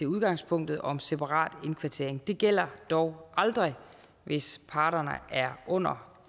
udgangspunktet om separat indkvartering det gælder dog aldrig hvis parterne er under